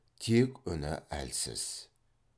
тек үні әлсіз